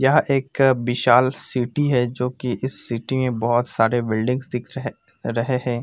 यहा एक बिशाल सिटी है। जो की इस सिटी में बहुत सारे बिल्डिंग्स दिख रहे रहे है।